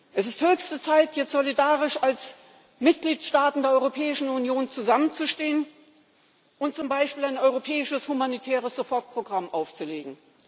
Es ist höchste Zeit, jetzt solidarisch als Mitgliedstaaten der Europäischen Union zusammenzustehen und zum Beispiel ein europäisches humanitäres Sofortprogramm aufzulegen.